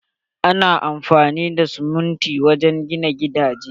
Ana amfani da sumunti wajen gina gidaje.